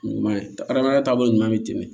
Ɲuman ye hadamadenya taabolo ɲuman bɛ tɛmɛ